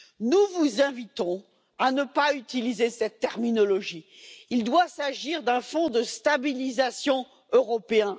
Nous vous invitons à ne pas utiliser cette terminologie, il doit s'agir d'un fonds de stabilisation européen.